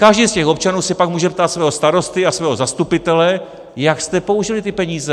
Každý z těch občanů se pak může ptát svého starosty a svého zastupitele: Jak jste použili ty peníze?